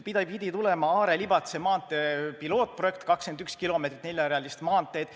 Pidi tulema Are–Libatse maantee pilootprojekt, 21 kilomeetrit neljarealist maanteed.